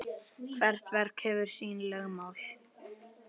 Hvert verk hefur sín lögmál.